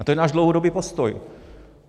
A to je náš dlouhodobý postoj.